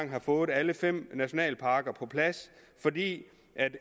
har fået alle fem nationalparker på plads fordi